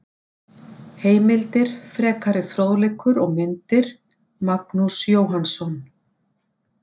Heimildir, frekari fróðleikur og myndir: Magnús Jóhannsson.